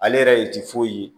Ale yɛrɛ de ti foyi ye